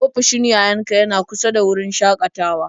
Ofishin yayan ka yana kusa da wurin shakatawar?